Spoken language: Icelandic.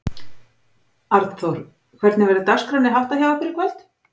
Arnþór, hvernig verður dagskránni háttar hjá ykkur í kvöld?